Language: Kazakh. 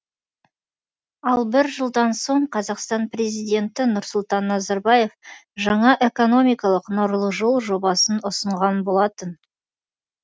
ал бір жылдан соң қазақстан президенті нұрсұлтан назарбаев жаңа экономикалық нұрлы жол жобасын ұсынған болатын